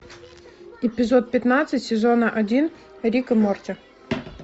эпизод пятнадцать сезона один рик и морти